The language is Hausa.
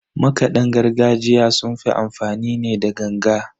Makadan gargajiya sun fi amfani ne da ganga.